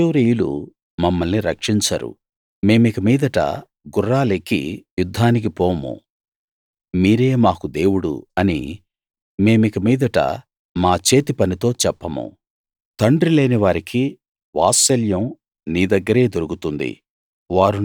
అష్షూరీయులు మమ్మల్ని రక్షించరు మేమిక మీదట గుర్రాలెక్కి యుద్ధానికి పోము మీరే మాకు దేవుడు అని మేమిక మీదట మా చేతి పనితో చెప్పము తండ్రిలేని వారికి వాత్సల్యం నీ దగ్గరే దొరుకుతుంది